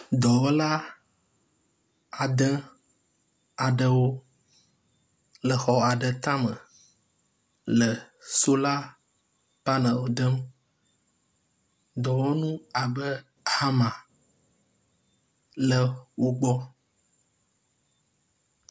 Dɔwɔla ade aɖewo le xɔ aɖe tame le sola panelwo dem, dɔwɔnu abe hama le wo gbɔ.